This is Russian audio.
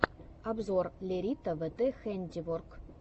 обзор лерита вт хэндиворк